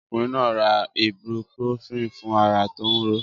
Ọkùnrin náà ra Ibruprofen fún ara tó ń ro ó.